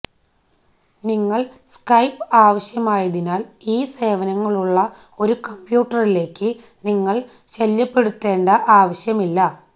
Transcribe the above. നിങ്ങൾ സ്കൈപ് ആവശ്യമായതിനാൽ ഈ സേവനങ്ങളുള്ള ഒരു കമ്പ്യൂട്ടറിലേക്ക് നിങ്ങൾ ശല്യപ്പെടുത്തേണ്ട ആവശ്യമില്ല